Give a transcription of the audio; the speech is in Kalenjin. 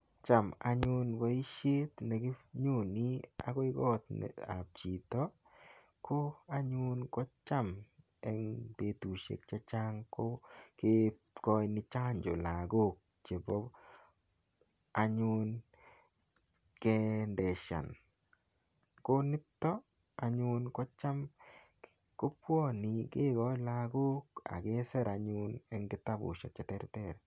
Cham anyun boisiet neginyoni agoi kotab chito ko anyun kocham eng betutusiek che chang ko kekoini chancho lagok chebo anyun keendeshan. Konito anyun kocham kegoin lagok ak kesir anyun anyun eng kitabusiek cheterter.